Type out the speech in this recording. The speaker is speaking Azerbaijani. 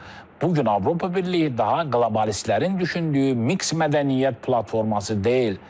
Bu gün Avropa Birliyi daha qlobalistlərin düşündüyü miks mədəniyyət platforması deyil.